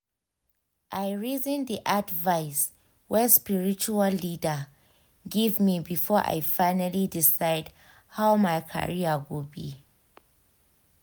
i reason the advice wey spiritual leader give me before i finally decide how my career go be.